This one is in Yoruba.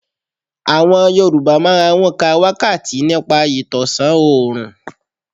Àwọn Yorùbá máa ń ka wákàtí nípa ìtọ̀sán òrùn.